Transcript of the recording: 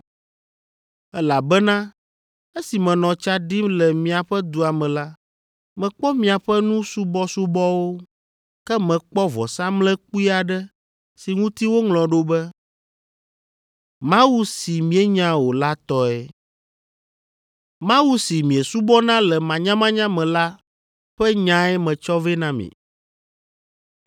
elabena esi menɔ tsa ɖim le miaƒe dua me la, mekpɔ miaƒe nu subɔsubɔwo. Ke mekpɔ vɔsamlekpui aɖe si ŋuti woŋlɔ ɖo be, mawu si mienya o la tɔe. Mawu si miesubɔna le manyamanya me la ƒe nyae metsɔ vɛ na mi.